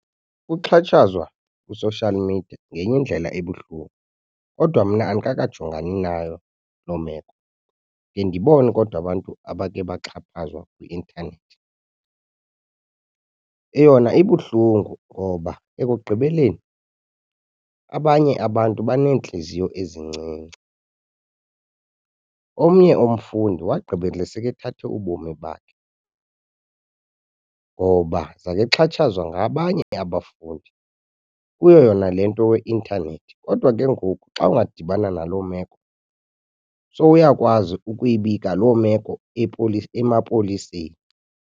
Ukuxhatshazwa kwi-social media ngenye indlela ebuhlungu kodwa mna andikakajongani nayo loo meko. Ndiye ndibone kodwa abantu abake baxhatshazwa kwi-intanethi. Eyona ibuhlungu ngoba ekugqibeleni abanye abantu beneentliziyo ezincinci. Omnye umfundi wagqibela sekethathe ubomi bakhe ngoba zakexhatshazwa ngabanye abafundi kuyo yona le nto ye-intanethi. Kodwa ke ngoku xa ungadibana naloo meko sowuyakwazi ukuyibika loo meko emapoliseni.